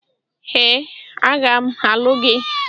Ee, aga m alụ gị.